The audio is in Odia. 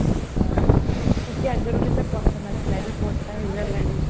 ସେ ଆଗରୁ କେତେ ପତଳା ଥିଲା ଏବେ ମୋଟା ହେଇ ଗଲାନି